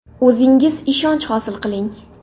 O‘zingiz ishonch hosil qiling!